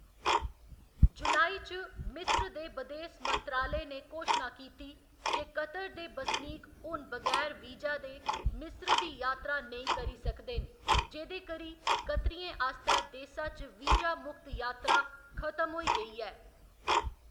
जुलाई च, मिस्र दे बदेस मंत्रालय ने घोशना कीती जे कतर दे बसनीक हून बगैर वीजा दे मिस्र दी यात्रा नेईं करी सकदे न, जेह्‌‌‌दे करी कतरियें आस्तै देसा च वीजा मुक्त यात्रा खत्म होई गेई ऐ।